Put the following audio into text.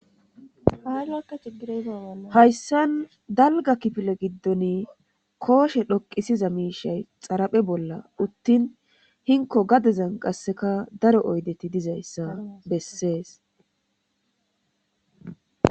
Haalakka cigirezaa hayssan dalga kipile giddoni kooshe dhoqisiza miishay xaraphe bolla uttin hinko gadezan qasseka daro oydeti dizayssa bessees.